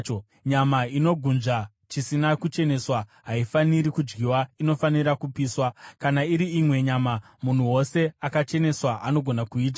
“ ‘Nyama inogunzva chisina kucheneswa haifaniri kudyiwa, inofanira kupiswa. Kana iri imwe nyama, munhu wose akacheneswa anogona kuidya.